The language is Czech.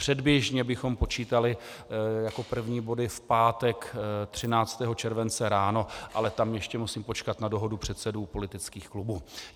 Předběžně bychom počítali jako první body v pátek 13. července ráno, ale tam ještě musím počkat na dohodu předsedů politických klubů.